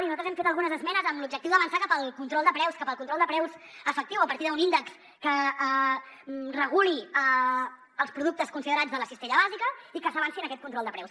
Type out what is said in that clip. i nosaltres hem fet algunes esmenes amb l’objectiu d’avançar cap al control de preus cap al control de preus efectiu a partir d’un índex que reguli els productes considerats de la cistella bàsica perquè s’avanci en aquest control de preus